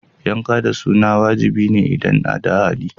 Yanka da suna wajibi ne idan da hali.